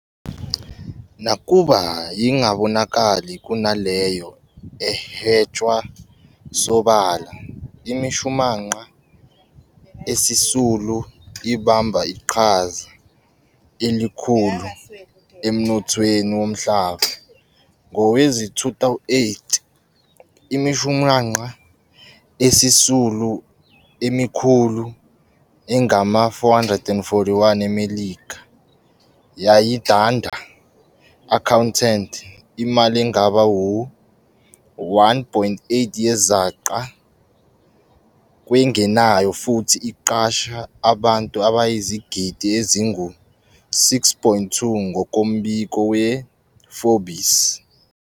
Nakuba ingabonakali kunaleyo ehwetshwa sobala, imishumanqa esisulu ibamba iqhaza elikhulu emnothweni womhlaba. Ngowezi-2008, imishumanqa esisulu emikhulu engama-441 eMelika yayidanda, accounted," imali engaba-1.8 yezaca, kwengenayo futhi iqasha abantu abayizigidi ezingu-6.2, ngokombiko we-Forbes.